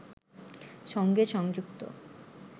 সঙ্গে সংযুক্ত